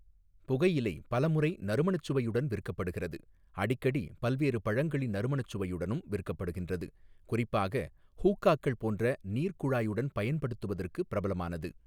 புகையிலை பலமுறை நறுமணச் சுவையுடன் விற்கப்படுகிறது அடிக்கடி பல்வேறு பழங்களின் நறுமணச் சுவையுடனும் விற்கப்படுகின்றது குறிப்பாக ஹூக்காக்கள் போன்ற நீர்க் குழாயுடன் பயன்படுத்துவதற்கு பிரபலமானது.